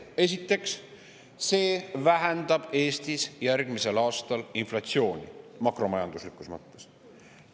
Esiteks, see vähendab Eestis järgmisel aastal inflatsiooni, makromajanduslikus mõttes.